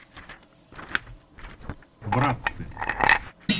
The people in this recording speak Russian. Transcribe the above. братцы